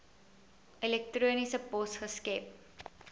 elektroniese pos geskep